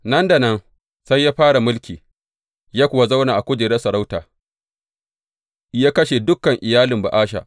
Nan da nan sai ya fara mulki ya kuwa zauna a kujerar sarauta, ya kashe dukan iyalin Ba’asha.